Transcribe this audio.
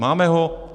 Máme ho?